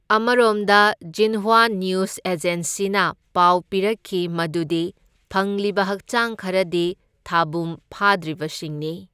ꯑꯃꯔꯣꯝꯗ Xinhua news ꯑꯦꯖꯦꯟꯁꯤꯅ ꯄꯥꯎ ꯄꯤꯔꯛꯈꯤ ꯃꯗꯨꯗꯤ ꯐꯪꯂꯤꯕ ꯍꯛꯆꯥꯡ ꯈꯔꯗꯤ ꯊꯥꯕꯨꯝ ꯐꯥꯗ꯭ꯔꯤꯕꯁꯤꯡꯅꯤ꯫